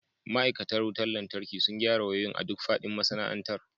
Ma'aikatan wutar lantarki sun gyara wayoyin a duk faɗin masana'antar.